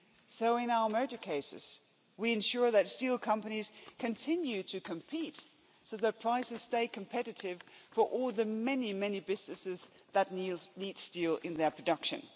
So in our merger cases, we ensure that steel companies continue to compete, so that prices stay competitive for all the many, many businesses that need steel in their production.